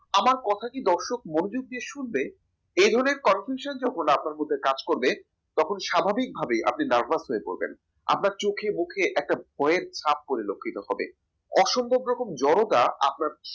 আমার কথা কি দর্শক মনোযোগ দিয়ে শুনবে এ ধরনের confuction যখন আপনার মনে কাজ করবে তখন স্বাভাবিকভাবেই আপনি nervous হয়ে পড়বেন আপনার চোখে মুখে একটা ভয়েস ছাপ পরিলক্ষিত হবে অসম্ভব রকম জড়তা আপনার